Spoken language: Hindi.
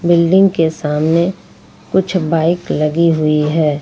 बिल्डिंग के सामने कुछ बाइक लगी हुई है।